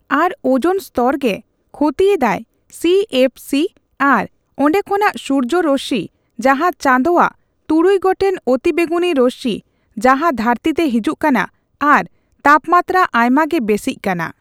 ᱟᱨ ozone ᱥᱛᱚᱨ ᱜᱮ ᱠᱷᱚᱛᱤ ᱮᱫᱟᱭ ᱥᱤᱼᱮᱯᱷᱼᱥᱤ ᱟᱨ ᱚᱸᱰᱮ ᱠᱷᱚᱱᱟᱜ ᱥᱩᱨᱡᱚ ᱨᱚᱥᱥᱤ ᱡᱟᱦᱟᱸ ᱪᱟᱸᱫᱚᱣᱟᱜ ᱛᱩᱨᱩᱭ ᱜᱚᱴᱮᱱ ᱚᱛᱤᱵᱮᱜᱩᱱᱤ ᱨᱚᱥᱥᱤ ᱡᱟᱦᱟ ᱫᱷᱟᱹᱨᱛᱤᱛᱮ ᱦᱤᱡᱩᱜ ᱠᱟᱱᱟ ᱟᱨ ᱛᱟᱯᱢᱟᱛᱨᱟ ᱟᱭᱢᱟᱜᱮ ᱵᱮᱥᱤᱜ ᱠᱟᱱᱟ